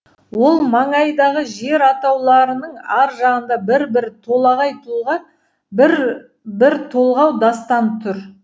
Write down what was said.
ол маңайдағы жер атауларының ар жағында бір бір толағай тұлға бір бір толғау дастан тұр